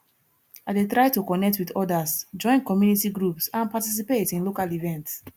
i dey try to connect with odas join community groups and participate in local events